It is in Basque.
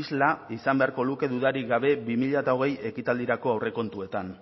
isla izan beharko luke dudarik gabe bi mila hogei ekitaldirako aurrekontuetan